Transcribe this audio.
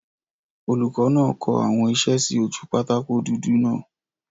Olùkọ́ náà kọ àwọn isẹ́ sí ojú pátákó dúdú náà